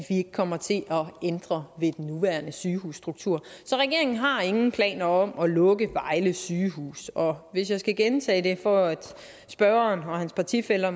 ikke kommer til at ændre ved den nuværende sygehusstruktur så regeringen har ingen planer om at lukke vejle sygehus og hvis jeg skal gentage det for at spørgeren og hans partifæller